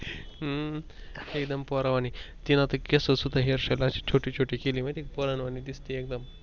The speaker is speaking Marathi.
हम्म एकदम पोरावाणी तीन केस सुद्धा Hairstyle छोटी छोटी केली माहित आहे का पोरानवाणी दिसते एकदम.